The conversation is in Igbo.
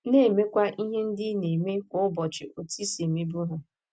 Na - emekwa ihe ndị ị na - eme kwa ụbọchị otú i si emebu ha.